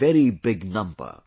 This is a very big number